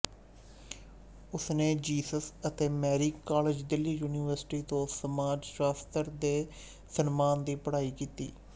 ਉਸਨੇ ਜੀਸਸ ਅਤੇ Mary College Delhi University ਤੋਂ ਸਮਾਜ ਸ਼ਾਸਤਰ ਦੇ ਸਨਮਾਨ ਦੀ ਪੜ੍ਹਾਈ ਕੀਤੀ